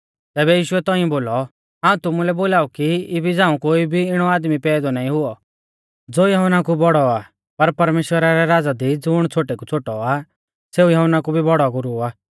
तैबै यीशुऐ तौंइऐ बोलौ हाऊं तुमुलै बोलाऊ की इबी झ़ांऊ कोई भी इणौ आदमी पैदौ नाईं हुऔ ज़ो यहुन्ना कु बौड़ौ आ पर परमेश्‍वरा रै राज़ा दी ज़ुण छ़ोटै कु छ़ोटौ आ सेऊ यहुन्ना कु भी बौड़ौ गुरु आ